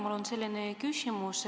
Mul on selline küsimus.